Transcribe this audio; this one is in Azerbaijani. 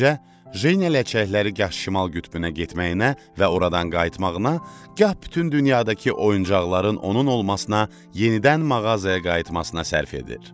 Beləcə, Jeniya ləçəkləri gah şimal qütbünə getməyinə və oradan qayıtmağına, gah bütün dünyadakı oyuncaqların onun olmasına, yenidən mağazaya qayıtmasına sərf edir.